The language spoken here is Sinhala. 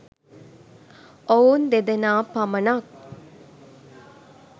ඔවුන් දෙදෙනා පමණක්